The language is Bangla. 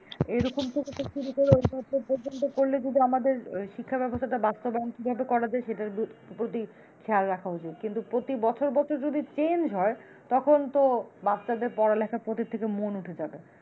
এরকম থেকে শুরু করে পর্যন্ত করলে যদি আমাদের, শিক্ষা ব্যবস্থাটা বাস্তবায়ন কিভাবে করা যায়, সেটার প্রতি খেয়াল রাখা উচিৎ কিন্তু প্রতি বছর বছর যদি change হয় তখন তো বাচ্চাদের পড়ালেখার প্রতি থেকে মন উঠে যাবে।